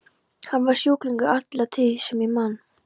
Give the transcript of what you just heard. Hann var sjúklingur alla tíð sem ég man.